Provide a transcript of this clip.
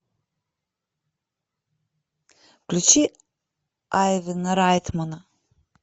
включи айвена райтмана